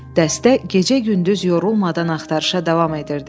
Dəstə gecə-gündüz yorulmadan axtarışa davam edirdi.